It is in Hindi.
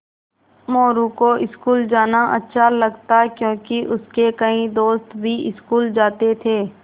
मोरू को स्कूल जाना अच्छा लगता क्योंकि उसके कई दोस्त भी स्कूल जाते थे